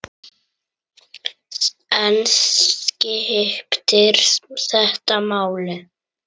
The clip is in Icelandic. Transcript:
En skiptir þetta máli?